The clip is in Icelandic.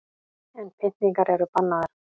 En pyntingar eru bannaðar